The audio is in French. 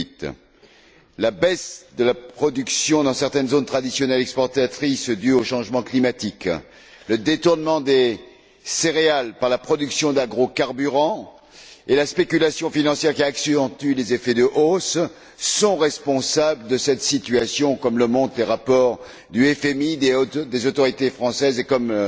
2008. La baisse de la production dans certaines zones traditionnelles exportatrices due au changement climatique, le détournement des céréales par la production d'agrocarburants et la spéculation financière qui accentue les effets de hausse sont responsables de cette situation, comme le montrent les rapports du FMI et des autorités françaises et comme